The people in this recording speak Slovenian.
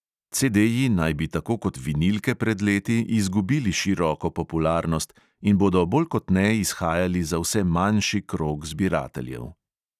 CDji naj bi tako kot vinilke pred leti izgubili široko popularnost in bodo bolj kot ne izhajali za vse manjši krog zbirateljev.